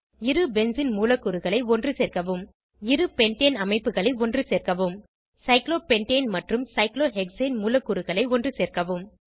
இரு பென்சீன் மூலக்கூறுகளை ஒன்றுசேர்க்கவும் இரு பென்டேன் அமைப்புகளை ஒன்றுசேர்க்கவும் சைக்ளோபென்டேன் மற்றும் சைக்ளோஹெக்சேன் மூலக்கூறுகளை ஒன்றுசேர்க்கவும்